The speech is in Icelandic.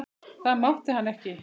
Það mátti hann ekki.